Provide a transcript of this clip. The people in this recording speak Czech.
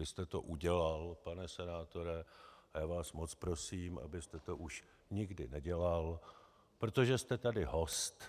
Vy jste to udělal, pane senátore, a já vás moc prosím, abyste to už nikdy nedělal, protože jste tady host